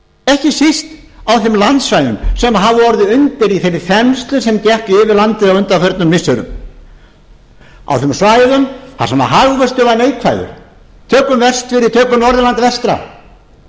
ekki síst á þeim landsvæðum sem hafa orðið undir í þeirri þenslu sem gekk yfir landið á undanförnu missirum á þeim svæðum þar sem hagvöxtur var neikvæður tökum vestfirði tökum norðurland vestra